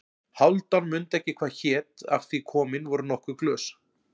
Hálfdán mundi ekki hvað hét af því komin voru nokkur glös.